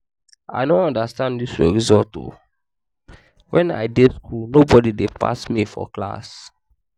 i no understand dis your result oo. wen i dey school nobody dey pass me for class